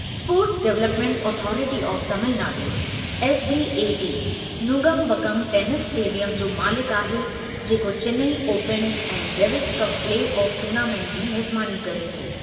Sports development authority of Tamil Nadu (SDAT), Nungambakkam tennis stadium जो मालिकु आहे जेको चिनाई ओपन ऐं Davis cup play off tournament जी मेज़बानी करे थो।